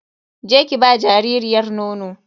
Je ki ba jaririyar nono.